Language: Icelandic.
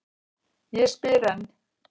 Ég spyr enn.